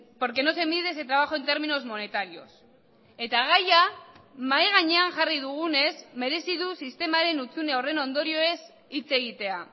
porque no se mide ese trabajo en términos monetarios eta gaia mahai gainean jarri dugunez merezi du sistemaren hutsune horren ondorioez hitz egitea